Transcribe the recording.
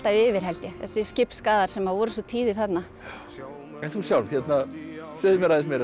yfir held ég þessir skipsskaðar sem voru svo tíðir þarna en þú sjálf segðu mér aðeins meira